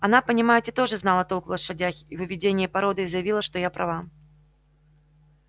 она понимаете тоже знала толк в лошадях и в выведении породы и заявила что я права